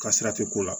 Ka sira tɛ ko la